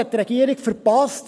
hat die Regierung verpasst.